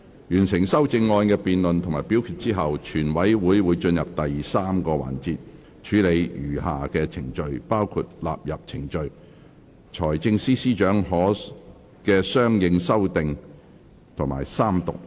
完成修正案的辯論及表決後，全委會會進入第三個環節，處理餘下程序，包括納入程序、財政司司長的相應修訂及三讀。